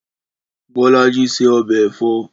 Bọ́lájí se ọbẹ̀ ẹ̀fọ́.